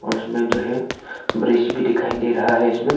और इसमें जो हैं ब्रिज भी दिखाई दे रहा है इसमें--